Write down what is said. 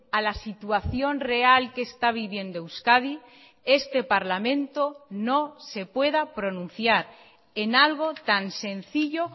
a la situación real que está viviendo euskadi este parlamento no se pueda pronunciar en algo tan sencillo